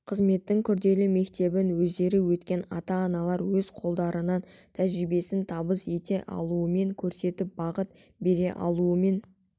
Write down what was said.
қызметтің күрделі мектебін өздері өткен ата-аналар өз қолдарынан тәжірибесін табыс ете алуымен көрсетіп бағыт бере алуымен